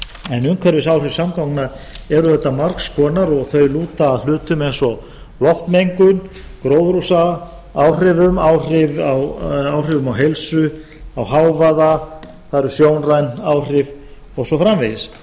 en umhverfisáhrif samgangna eru auðvitað margs konar og þau lúta að hlutum eins og loftmengun gróðurhúsaáhrifum áhrifum á heilsu hávaða það eru sjónræn áhrif og svo framvegis